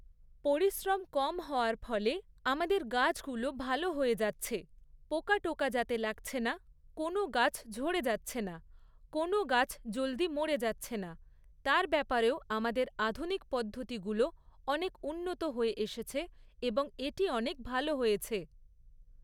পরিশ্রম কম হওয়ার ফলে আমাদের গাছগুলো ভালো হয়ে যাচ্ছে। পোকা টোকা যাতে লাগছে না, কোনও গাছ ঝরে যাচ্ছে না, কোনও গাছ জলদি মরে যাচ্ছে না, তার ব্যাপারেও আমাদের আধুনিক পদ্ধতিগুলো অনেক উন্নত হয়ে এসেছে এবং এটা অনেক ভালো হয়েছে।